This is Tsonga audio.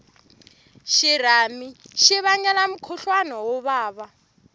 xirhami xi vangela mukhuhlwani wo vava